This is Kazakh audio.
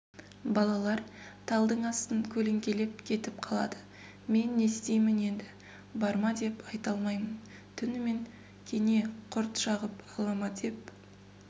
балалар талдың астын көлеңкелеп кетіп қалады мен не істеймін енді барма деп айта алмаймын түнімен кене құрт шағым ала ма деп